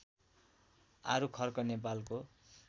आरुखर्क नेपालको